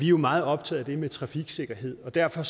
jo meget optaget af det med trafiksikkerhed og derfor